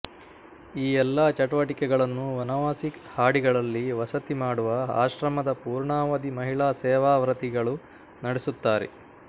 ಈ ಎಲ್ಲಾ ಚಟುವಟಿಕೆಗಳನ್ನು ವನವಾಸಿ ಹಾಡಿಗಳಲ್ಲಿ ವಸತಿ ಮಾಡುವ ಆಶ್ರಮದ ಪೂರ್ಣಾವಧಿ ಮಹಿಳಾ ಸೇವಾವ್ರತಿಗಳು ನಡೆಸುತ್ತಾರೆ